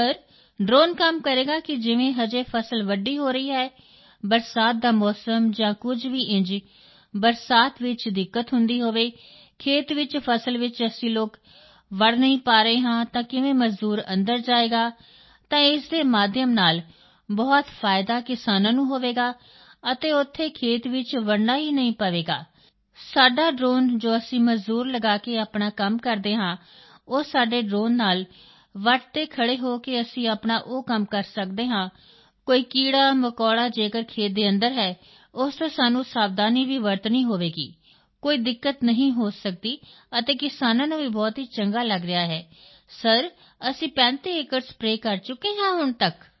sir drone ਕੰਮ ਕਰੇਗਾ ਕਿ ਜਿਵੇਂ ਅਜੇ ਫਸਲ ਵੱਡੀ ਹੋ ਰਹੀ ਹੈ ਬਰਸਾਤ ਦਾ ਮੌਸਮ ਜਾਂ ਕੁਝ ਵੀ ਇੰਝ ਬਰਸਾਤ ਚ ਦਿੱਕਤ ਹੁੰਦੀ ਹੋਵੇ ਖੇਤ ਵਿੱਚ ਫਸਲ ਚ ਅਸੀਂ ਲੋਕ ਵੜ੍ਹ ਨਹੀਂ ਪਾ ਰਹੇ ਹਾਂ ਤਾਂ ਕਿਵੇਂ ਮਜ਼ਦੂਰ ਅੰਦਰ ਜਾਏਗਾ ਤਾਂ ਇਸ ਦੇ ਮਾਧਿਅਮ ਨਾਲ ਬਹੁਤ ਫਾਇਦਾ ਕਿਸਾਨਾਂ ਨੂੰ ਹੋਵੇਗਾ ਅਤੇ ਉੱਥੇ ਖੇਤ ਵਿੱਚ ਵੜ੍ਹਨਾ ਹੀ ਨਹੀਂ ਪਵੇਗਾ ਸਾਡਾ ਡ੍ਰੋਨ ਜੋ ਅਸੀਂ ਮਜ਼ਦੂਰ ਲਗਾ ਕੇ ਆਪਣਾ ਕੰਮ ਕਰਦੇ ਹਾਂ ਉਹ ਸਾਡੇ ਡ੍ਰੋਨ ਨਾਲ ਵੱਟ ਤੇ ਖੜ੍ਹੇ ਹੋ ਕੇ ਅਸੀਂ ਆਪਣਾ ਉਹ ਕੰਮ ਕਰ ਸਕਦੇ ਹਾਂ ਕੋਈ ਕੀੜਾਮਕੌੜਾ ਜੇਕਰ ਖੇਤ ਦੇ ਅੰਦਰ ਹੈ ਉਸ ਤੋਂ ਸਾਨੂੰ ਸਾਵਧਾਨੀ ਵੀ ਵਰਤਣੀ ਹੋਵੇਗੀ ਕੋਈ ਦਿੱਕਤ ਨਹੀਂ ਹੋ ਸਕਦੀ ਅਤੇ ਕਿਸਾਨਾਂ ਨੂੰ ਵੀ ਬਹੁਤ ਚੰਗਾ ਲੱਗ ਰਿਹਾ ਹੈ ਸਰ ਅਸੀਂ 35 ਏਕੜ ਸਪਰੇਅ ਕਰ ਚੁੱਕੇ ਹਾਂ ਹੁਣ ਤੱਕ